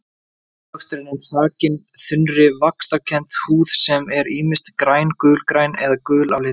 Ávöxturinn er þakinn þunnri vaxkenndri húð sem er ýmist græn, gul-græn eða gul á litinn.